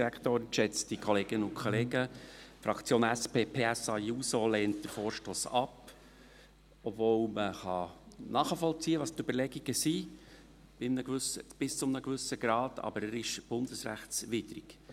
Die Fraktion SP-PSA-JUSO lehnt den Vorstoss ab, obwohl die Überlegungen bis zu einem gewissen Grad nachvollzogen werden können, aber er ist bundesrechtswidrig.